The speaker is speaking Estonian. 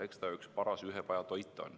Eks ta üks paras ühepajatoit ole.